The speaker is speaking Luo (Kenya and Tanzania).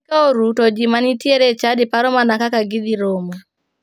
Piny ka oru to ji manitiere e chadi paro mana kaka gidhi romo.